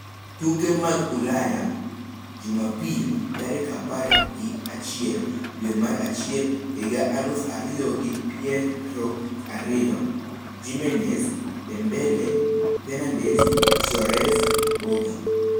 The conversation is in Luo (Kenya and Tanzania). Tuke mag Ulaya Jumapil tarik apar gi achiel dwe mar achiel higa aluf ariyo gi pier ariyo: Jimenez, Dembele, Fernandes, Soares, Boga